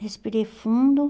Respirei fundo.